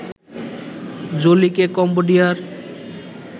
জোলিকে কম্বোডিয়ার